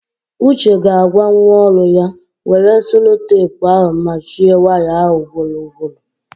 Uche ga-agwa nwa ọrụ ya, were selotepu ahụ machie waya ahụ ugboro ugboro!